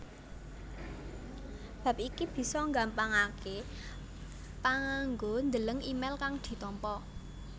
Bab iki bisa nggampangaké panganggo ndeleng email kang ditampa